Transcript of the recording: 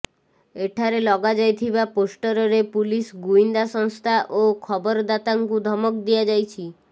ଏଠାରେ ଲଗାଯାଇଥିବା ପୋଷ୍ଟରରେ ପୁଲିସ ଗୁଇନ୍ଦା ସଂସ୍ଥା ଓ ଖବରଦାତାଙ୍କୁ ଧମକ ଦିଆଯାଇଛି